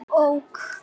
Já, ok.